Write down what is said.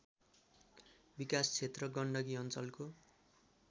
विकासक्षेत्र गण्डकी अञ्चलको